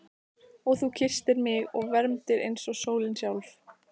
Og þú kysstir mig og vermdir eins og sólin sjálf.